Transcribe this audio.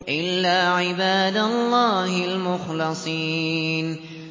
إِلَّا عِبَادَ اللَّهِ الْمُخْلَصِينَ